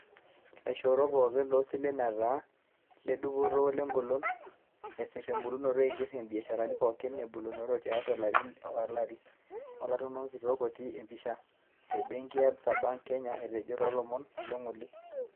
Laishoorok pooki losilen etaa ledupoto welegolon, esir ebulunoto eiger ibiasharani pooki ebulunoto tiatu ilarin olari, Olautaroni kitok (otii empisha) le benki e Absa Bank Kenya etejo toolomon le ng'ole.